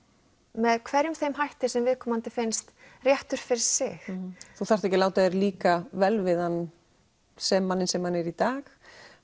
með hverjum þeim hætti sem viðkomandi finnst réttur fyrir sig þú þarft ekki að láta þér líka vel við hann sem manninn sem hann er í dag